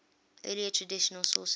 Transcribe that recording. earlier traditional sources